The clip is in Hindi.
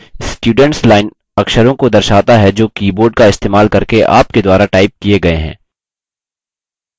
students line अक्षरों को दर्शाता है जो keyboard का इस्तेमाल करके आपके द्वारा टाइप किये गये हैं